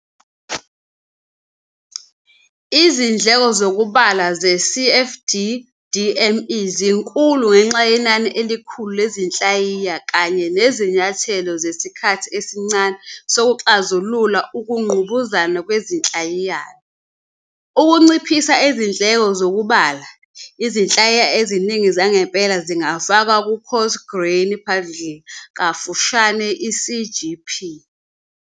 Izindleko zokubala ze-CFD-DEM zinkulu ngenxa yenani elikhulu lezinhlayiya kanye nezinyathelo zesikhathi esincane zokuxazulula ukungqubuzana kwezinhlayiyana. Ukunciphisa izindleko zokubala, izinhlayiya eziningi zangempela zingafakwa ku-Coarse Grained Particle, CGP.